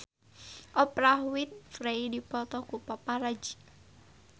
Oprah Winfrey dipoto ku paparazi